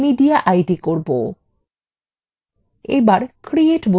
এবার create button click করুন